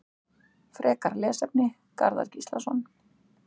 Frekara lesefni: Garðar Gíslason.